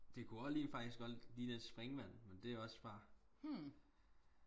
det kunne også lige også faktisk ligne lidt et springvand men det er også bare